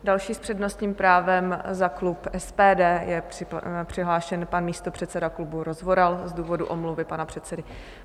Další s přednostním právem za klub SPD je přihlášen pan místopředseda klubu Rozvoral z důvodu omluvy pana předsedy.